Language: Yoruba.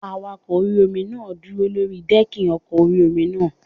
Awakọ̀ orí-omi náà dúró sórí dẹ́ẹ̀kì ọkọ̀ orí-omi náà